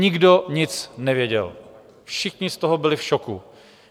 Nikdo nic nevěděl, všichni z toho byli v šoku.